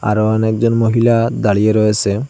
আরও অনেক জন মহিলা দাঁড়িয়ে রয়েসে।